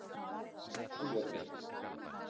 Höfðabrekku